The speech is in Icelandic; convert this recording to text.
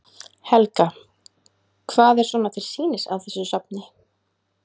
Helga: Hvað er svona til sýnis á þessu safni?